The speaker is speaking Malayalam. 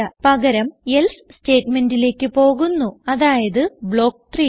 പകരം എൽസെ സ്റ്റേറ്റ്മെന്റിലേക്ക് പോകുന്നു അതായത് ബ്ലോക്ക് 3